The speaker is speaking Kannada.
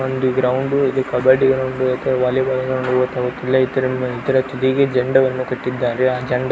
ಒಂದು ಗ್ರೌಂಡು ಇದು ಕಬಡ್ಡಿ ಗ್ರೌಂಡು ಅತ್ವಾ ವಾಲಿಬಾಲ್ ಗ್ರೌಂಡು ಗೊತ್ತಾಗುತ್ತಿಲ್ಲ ಇದ್ರ ತುದೀಗೆ ಜಂಡ ವನ್ನು ಕಟ್ಟಿದ್ದಾರೆ ಆ ಜಂಡ --